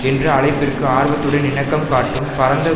என்ற அழைப்பிற்கு ஆர்வத்துடன் இணக்கம் காட்டும் பரந்த